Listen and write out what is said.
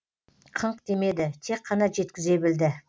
қыңқ демеді тек қана жеткізе білді